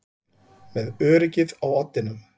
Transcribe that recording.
Með öryggið á oddinum